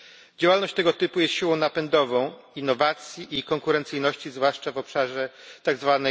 Działalność tego typu jest siłą napędową innowacji i konkurencyjności, zwłaszcza w obszarze tzw.